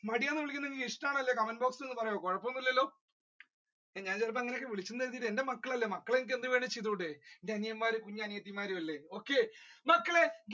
മടിയൻ എന്ന് വിൽക്കുന്നത് ഇഷ്ടമല്ലെങ്കിൽ ഇൽ ഒന്ന് പറയോ കുഴപ്പം ഒന്നും ഇല്ലലോ ഞാൻ ചെലപ്പോൾ അങ്ങനെ വിളിച്ചു എന്ന് കരുതി എന്റെ മക്കൾ അല്ലെ മക്കളെ എനിക്ക് എന്ത് വേണേലും ചെയ്തൂടെ കുഞ്ഞു അനിയന്മാരും കുഞ്ഞു അനിയത്തികളും അല്ലെ. okay മക്കളെ